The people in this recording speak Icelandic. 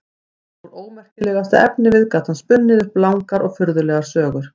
Úr ómerkilegasta efnivið gat hann spunnið upp langar og furðulegar sögur.